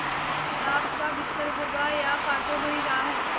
ये गुलाब का बिस्तर होगा या कांटों भरी राह